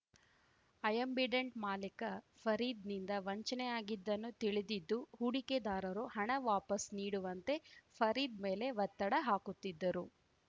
Ambidant ಮಾಲೀಕ ಫರೀದ್‌ನಿಂದ ವಂಚನೆಯಾಗಿದ್ದನ್ನು ತಿಳಿದಿದ್ದು ಹೂಡಿಕೆದಾರರು ಹಣ ವಾಪಸ್‌ ನೀಡುವಂತೆ ಫರೀದ್‌ ಮೇಲೆ ಒತ್ತಡ ಹಾಕುತ್ತಿದ್ದರು